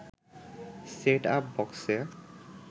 set up বক্সে